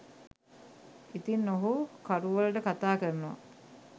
ඉතින් ඔහු කරුවලට කතාකරනවා